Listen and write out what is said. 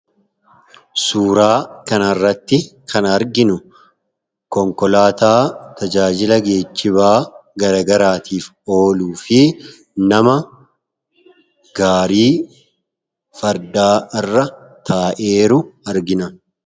suuraa kana irratti kan arginu konkolaataa tajaajila geejjibaa garagaraatiif ooluu fi nama gaarii fardaa irra taa'eeru argina